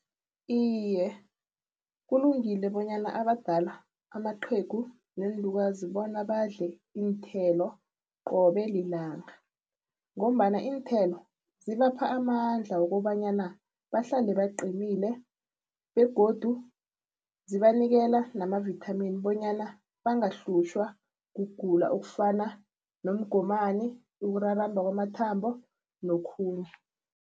Iye, kulungile bonyana abadala amaqhegu neenlukazi bona badle iinthelo qobe lilanga ngombana iinthelo zibapha amandla wokobanyana bahlale baqinile begodu zibanikela namavitamin bonyana bangahlutjhwa kugula okufana nomgomani, ukuraramba kwamathambo nokhunye.